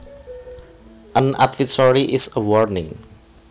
An advisory is a warning